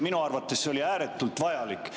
Minu arvates see oli ääretult vajalik.